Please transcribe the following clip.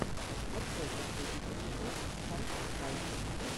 открой последний эпизод скай скай